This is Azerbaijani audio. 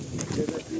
Gəlin bir az gəl.